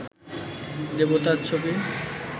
দেবতার ছবি